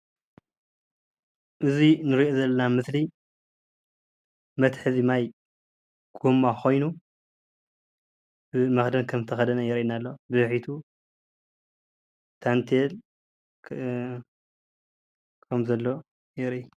እዚ እንሪኦ ዘለና ምስሊ መትሓዚ ማይ ጎማ ኮይኑ ብመክደን ከም ዝተከደነ የርእየና ኣሎ፡፡ ብድሕሪቱ ታንቲየል ከም ዘለዎ የርኢ፡፡